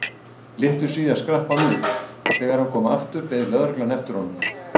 Litlu síðar skrapp hann út og þegar hann kom aftur beið lögreglan eftir honum.